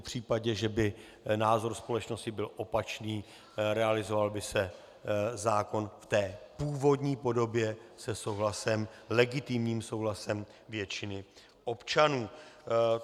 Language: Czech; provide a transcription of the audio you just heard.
V případě, že by názor společnosti byl opačný, realizoval by se zákon v té původní podobě se souhlasem, s legitimním souhlasem většiny občanů.